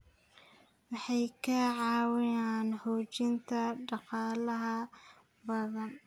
Waxay ka caawiyaan xoojinta dhaqaalaha badda.